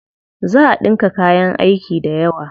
Za a ɗinka kayan aiki dayawa.